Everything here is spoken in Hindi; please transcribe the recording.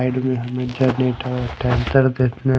ऐड में हमे जनरेटर ट्रैक्टर देखने--